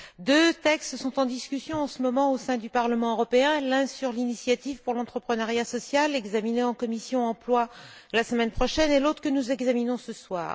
Deux textes sont en discussion en ce moment au sein du Parlement européen, l'un sur l'initiative pour l'entrepreneuriat social, qui sera examiné en commission de l'emploi et des affaires sociales la semaine prochaine, et l'autre que nous examinons ce soir.